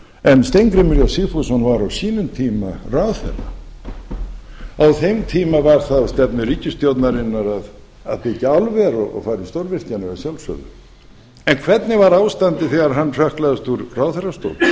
en steingrímur j sigfússon var á sínum tíma ráðherra á þeim tíma var það á stefnu ríkisstjórnarinnar að byggja álver og fara í stórvirkjanir að sjálfsögðu en hvernig var ástandið þegar hann hrökklaðist úr ráðherrastól